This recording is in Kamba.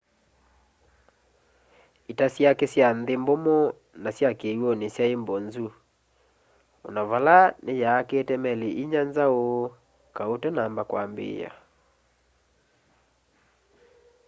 ita syake sya nthi mbumu na kiwuni syai mbozu ona vala ni yaakite meli inya nzau kau utanamba ambiia